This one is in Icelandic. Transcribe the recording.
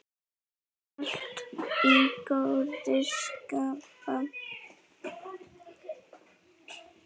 Alltaf í góðu skapi.